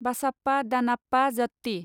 बासाप्पा दानाप्पा जात्ति